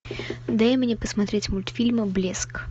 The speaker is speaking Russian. дай мне посмотреть мультфильм блеск